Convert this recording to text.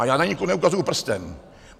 A já na nikoho neukazuji prstem.